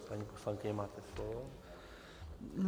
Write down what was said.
Paní poslankyně, máte slovo.